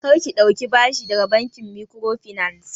Kar ki ɗauki bashi daga bankin microfinance!